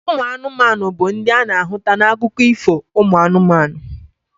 Ụmụ anụmanụ bu ndi ana ahụta na akụkọ Ifo umu anumanu.